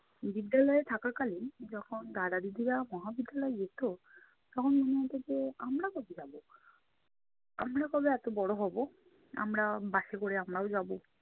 বিদ্যালয়ে থাকা কালীন যখন দাদা-দিদিরা মহাবিদ্যালয়ে যেতো, তখন মনে হতো যে আমরা কবে যাবো? আমরা কবে এত বড় হবো? আমরা বাসে করে আমরাও যাবো!